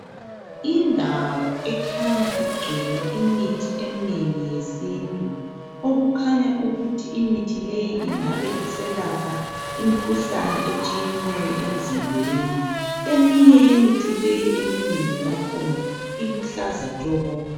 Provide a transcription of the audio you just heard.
Indawo ekhanya igcwele imithi eminengi yesintu okukhanya ukuthi imithi leyi ingabe iselapha imikhuhlane etshiyeneyo emzimbeni. Eminye yemithi leyi eminengi yakhona iluhlaza tshoko.